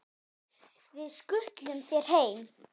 Við skutlum þér heim!